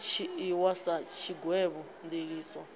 i dzhiiwi sa tshigwevho ndiliso